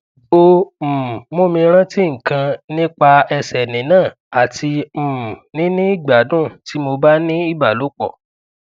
o um mumi ranti nkan nipa ese ni na ati um nini igbadun ti mo ba ni ibalopo